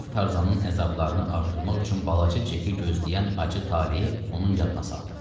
Rokov Tarzanın əzablarını artırmaq üçün balaca Ceki gözləyən acı taleyi onun yadına saldı.